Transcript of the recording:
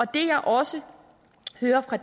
det jeg også hører fra